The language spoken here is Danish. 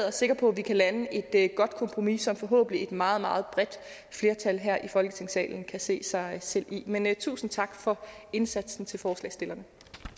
er sikker på at vi kan lande et godt kompromis som forhåbentlig et meget meget bredt flertal her i folketingssalen kan se sig selv i men tusind tak for indsatsen til forslagsstillerne